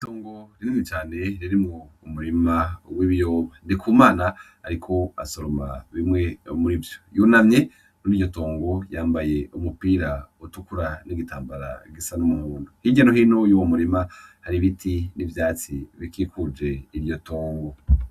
Itongo rinini cane ririmwo umurima w'ibiyoba . Ndikumana ariko arasoroma bimwe muri vyo, yunamye Mur'iryo tongo yambaye umupira utukura n'igitambara gisa n'umuhondo. Hirya no hino mur'uwo murima har'ibiti n'ivyatsi bikikuje iryo tongo.